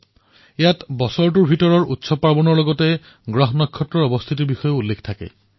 ইয়াত সমগ্ৰ বৰ্ষৰ পৰ্ব উৎসৱৰ সৈতে গ্ৰহনক্ষত্ৰৰ লেখাজোখা কৰা হয়